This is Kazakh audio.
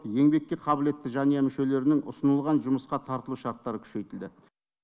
еңбекке қабілетті жанұя мүшелерінің ұсынылған жұмысқа тартылу шарттары күшейтілді